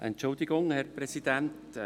Entschuldigung, Herr Präsident.